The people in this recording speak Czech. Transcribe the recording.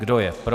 Kdo je pro?